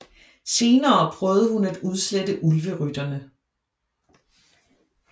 Senere prøvede hun at udslette Ulverytterne